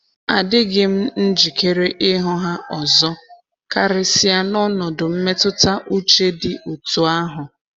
Adịghị m njikere ịhụ ha ọzọ, karịsịa n'ọnọdụ mmetụta uche dị otú ahụ.